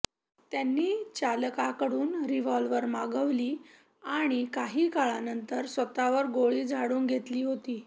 त्यांनी चालकाकडून रिव्हॉल्वर मागविली आणि काही काळानंतर स्वतःवर गोळी झाडून घेतली होती